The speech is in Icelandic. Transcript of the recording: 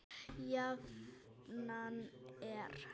Jafnan er